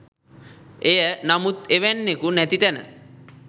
එය නමුත් එවැන්නෙකු නැති තැන